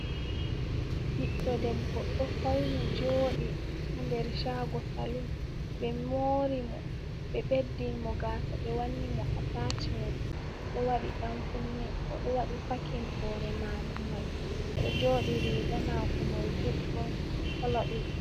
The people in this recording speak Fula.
Ɓiɗɗo debbo ɗo fauni joɗi ha nder shago salum, ɓe mori mo ɓe ɓeddin mo gasa, ɓe wanni mo a tacmen, odo waɗi ɗankunne, odo wadi pakin hore mako mai odo joɗi, riga mako mai juɗɗum kolo ɗiɗi.